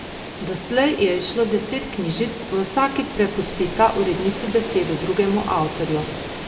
Doslej je izšlo deset knjižic, v vsaki prepustita urednici besedo drugemu avtorju.